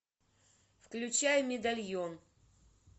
включай медальон